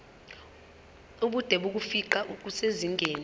ubude bokufingqa kusezingeni